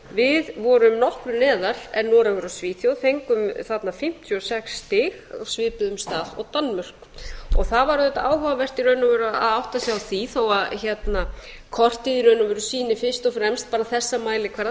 við vorum nokkru neðar en noregur og svíþjóð fengum þarna fimmtíu og sex stig á svipuðum stað og danmörk það var auðvitað áhugavert í raun og veru að átta sig á því þó að kortið sýni fyrst og fremst þessa mælikvarða sem